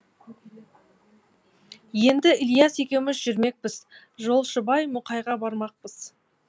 енді ілияс екеуміз жүрмекпіз жолшыбай мұқайға бармақпыз